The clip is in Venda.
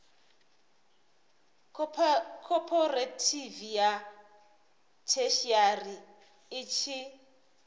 khophorethivi ya theshiari i tshi